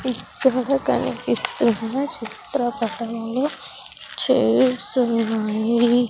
ఇక్కడ కనిపిస్తున్న చిత్రపటంలో చైర్స్ ఉన్నాయి.